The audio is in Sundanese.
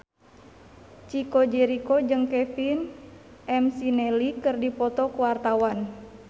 Chico Jericho jeung Kevin McNally keur dipoto ku wartawan